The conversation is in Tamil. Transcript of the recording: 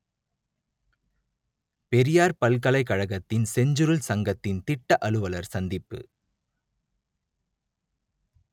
பெரியார் பல்கலைக் கழகத்தில் செஞ்சுருள் சங்கத்தின் திட்ட அலுவலர் சந்திப்பு